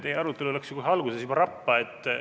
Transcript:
Teie arutelu läks kohe alguses rappa.